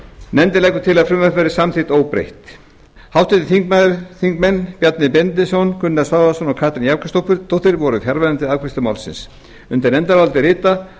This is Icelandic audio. nefndin leggur til að frumvarpið verði samþykkt óbreytt háttvirtir þingmenn bjarni benediktsson gunnar svavarsson og katrín jakobsdóttir voru fjarverandi við afgreiðslu málsins undir nefndarálitið rita